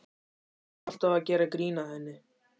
Þeir voru alltaf að gera grín að henni.